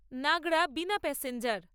Nagra Bina passenger